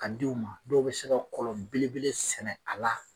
Ka d'u ma dɔw bi se ka kɔlɔn belebele sɛnɛ a la